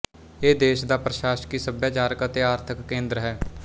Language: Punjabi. ਇਹ ਦੇਸ਼ ਦਾ ਪ੍ਰਸ਼ਾਸਕੀ ਸੱਭਿਆਚਾਰਕ ਅਤੇ ਆਰਥਕ ਕੇਂਦਰ ਹੈ